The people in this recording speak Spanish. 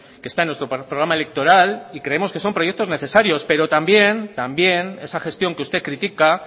que está en nuestro programa electoral y creemos que son proyectos necesarios pero también esa gestión que usted critica